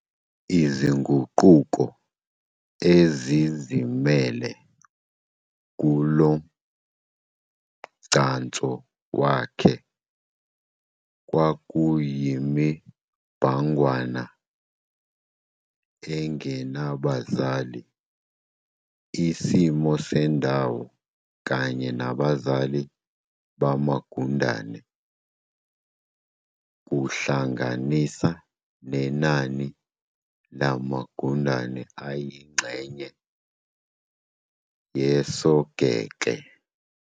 Izinguquko ezizimele kulomgcanso wakhe kwakuyimibhangwana engabazali, isimo sendawo kanye nabazali bamagundane, kuhlanganisa nenani lamagundane ayingxenye yosogekle.